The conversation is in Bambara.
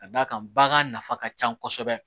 Ka d'a kan bagan nafa ka ca kosɛbɛ